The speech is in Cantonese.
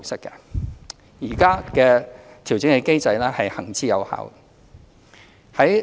現行的調整機制行之有效。